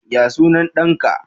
Yaya sunan ɗanka?